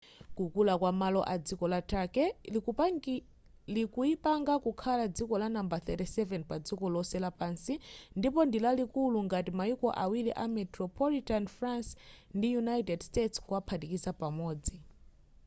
kukula kwamalo a dziko la turkey likuipanga kukhala dziko lanambala 37 padziko lonse lapansi ndipo ndilalikulu ngati mayiko awiri a metropolitan france ndi united kingdom kuwaphatikiza pamodzi